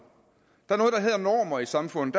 der er noget der hedder normer i samfundet